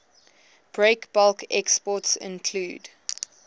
breakbulk exports include